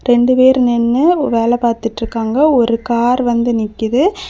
ரெண்டு பேர் நின்னு வேல பாத்துட்ருக்காங்க ஒரு கார் வந்து நிக்குது.